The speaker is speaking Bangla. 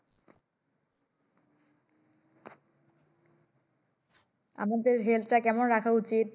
আমাদের Health কেমন রাখা উচিত?